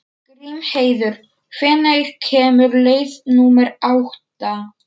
Grímheiður, hvenær kemur leið númer átta?